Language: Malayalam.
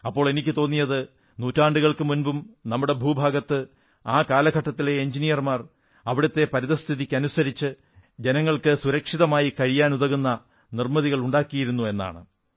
അപ്പോൾ എനിക്കു തോന്നിയത് നൂറ്റാണ്ടുകൾക്കു മുമ്പും നമ്മുടെ ആ ഭൂഭാഗത്ത് ആ കാലഘട്ടത്തിലെ എഞ്ചിനീയർമാർ അവിടത്തെ പരിതഃസ്ഥിതിക്കനുസരിച്ച് ജനങ്ങൾക്ക് സുരക്ഷിതമായി കഴിയാനാകുന്ന നിർമ്മിതികളുണ്ടാക്കിയിരുന്നു എന്നാണ്